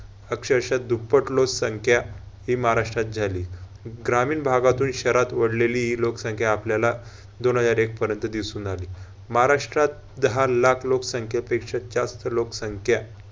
अक्षरशः दुप्पट लोकसंख्या ही महाराष्ट्रात झाली. ग्रामीण भागातून शहरात ओढलेली हि लोकसंख्या आपल्याला दोन हजार एक पर्यंत दिसून आली. महाराष्ट्रात दहा लाख लोकसंख्यापेक्षा जास्त लोकसंख्या